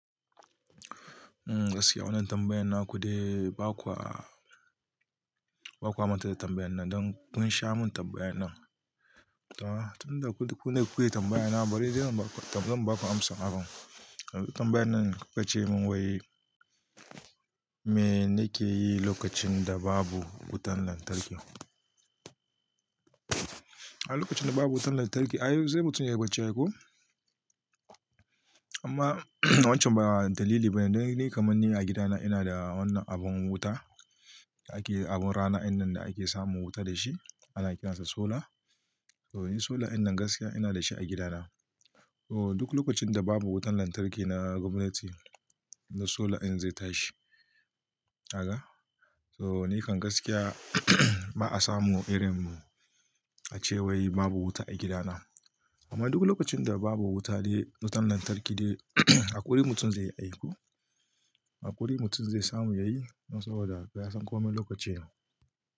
Gaskiya wannan tambayan na kudai ba kwa, ba kwa manta da tambayan nan don kun sha mun tambayan nan. Tunda kune kuke tambayan na bari dai zan ba ku amsa. Tambayan nan kuka ce mun wai me nake yi lokacin da babu wutan lantarki? A lokacin da babu wutan lantarki, ai sai mutum yayi bacci aiko. Imma wancan ba dalili ba ne. Don ni kamar ni a gidana ina da wannan abun wuta, ake abun rana innan da ake samun wuta da shi ana kiransa solar. Solar innan gaskiya ina da shi a gidana. Oh duk lokacin da babu wutan lantarki na gwamnati, na solar din zai tashi. Kaga. So nikan gaskiya ba'a samu irin a cewai babu wuta a gidana. Amma duk lokacin da babu wuta dai wutan lantarki dai haƙuri mutum zai yi haihu. Haƙuri mutum zai samu ya yi saboda yasan komai lokacinsa.